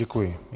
Děkuji.